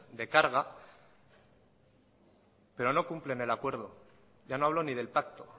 de carga pero no cumplen el acuerdo ya no hablo ni del pacto